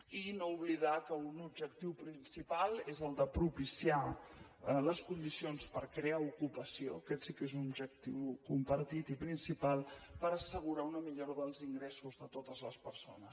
i no oblidar que un objectiu principal és el de propiciar les condicions per crear ocupació aquest sí que és un objectiu compartit i principal per assegurar una millora dels ingressos de totes les persones